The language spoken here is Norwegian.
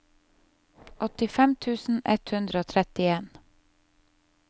åttifem tusen ett hundre og trettien